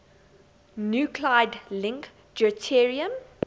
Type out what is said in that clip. nuclide link deuterium